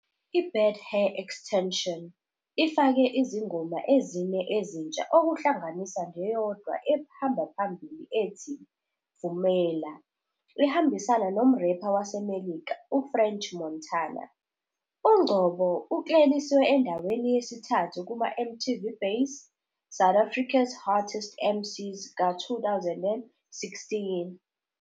"I-Bad Hair Extension" ifake izingoma ezine ezintsha okuhlanganisa neyodwa ehamba phambili ethi "Vumela" ehambisana nomrepha waseMelika u- French Montana. UNgcobo ukleliswe endaweni yesithathu kuma- MTV Base- SA's Hottest MCs ka-2016.